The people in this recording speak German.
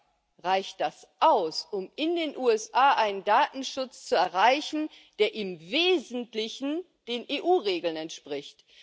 Aber reicht das aus, um in den USA einen Datenschutz zu erreichen, der im Wesentlichen den EU Regeln entspricht?